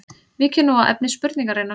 Víkjum nú að efni spurningarinnar.